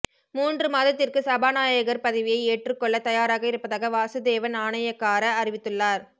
மூன்று மாதத்திற்கு சபாநாயகர் பதவியை ஏற்றுக்கொள்ள தயாராக இருப்பதாக வாசுதேவ நாணயக்கார அறிவித்துள்ளார்